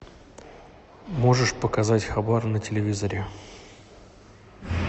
можешь показать хабар на телевизоре